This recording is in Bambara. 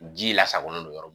Ji lasagonnen don yɔrɔ